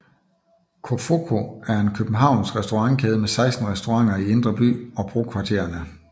Cofoco er en københavnsk restaurantkæde med 16 restauranter i Indre By og brokvartererne